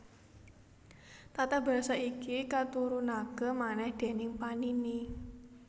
Tata basa iki katurunaké manèh déning Panini